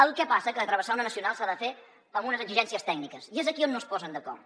el que passa que travessar una nacional s’ha de fer amb unes exigències tècniques i és aquí on no es posen d’acord